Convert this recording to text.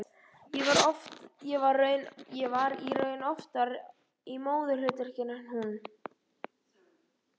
Ég var í raun oftar í móðurhlutverkinu en hún.